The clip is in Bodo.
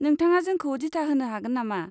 नोंथाङा जोंखौ दिथा होनो हागोन नामा?